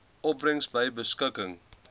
opbrengs by beskikking